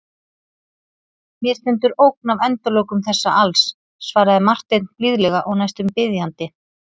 Mér stendur ógn af endalokum þessa alls, svaraði Marteinn blíðlega og næstum biðjandi.